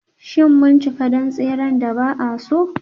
Shin mun cika don tseren da ba a so?